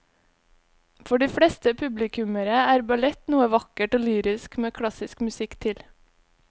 For de fleste publikummere er ballett noe vakkert og lyrisk med klassisk musikk til.